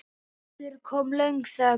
Aftur kom löng þögn.